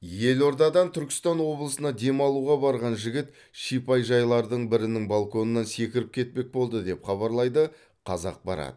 елордадан түркістан облысына демалуға барған жігіт шипажайлардың бірінің балконынан секіріп кетпек болды деп хабарлайды қазақпарат